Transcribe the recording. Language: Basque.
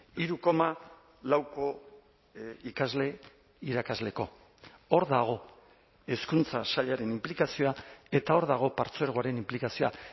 hiru koma lauko ikasle irakasleko hor dago hezkuntza sailaren inplikazioa eta hor dago partzuergoaren inplikazioa